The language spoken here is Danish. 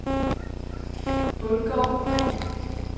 Bundgård